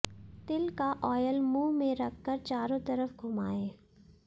तिल का ऑयल मुंह में रखकर चारों तरफ घुमाएं